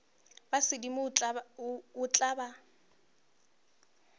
ba sedimo o tla ba